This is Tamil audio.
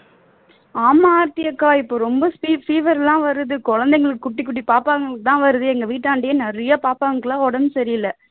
ஆமா ஆர்த்தி அக்கா இப்போ ரொம்ப fever எல்லாம் வருது குழந்தைங்க குட்டி குட்டி பாப்பாங்களுக்கு தான் வருது எங்க வீட்டாண்டையே நிறைய பாப்பாக்களுக்கு எல்லாம் உடம்பு சரியில்லை